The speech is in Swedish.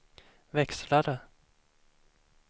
växlare